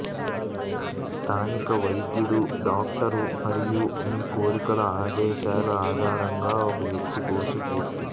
స్థానిక వైద్యుడు డాక్టర్ మరియు మీ కోరికలు ఆదేశాలు ఆధారంగా ఒక వ్యక్తి కోర్సు పూర్తి